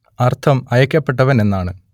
അർത്ഥം അയക്കപ്പെട്ടവൻ എന്നാണ്